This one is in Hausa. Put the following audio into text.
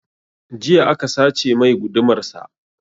Jiya aka sace mai gudumar sa